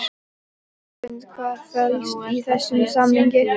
Hrund: Hvað felst í þessum samningi?